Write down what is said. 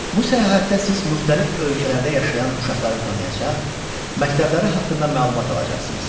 Bu səyahətdə siz müxtəlif ölkələrdə yaşayan uşaqları tanıyacaq, məktəbləri haqqında məlumat alacaqsınız.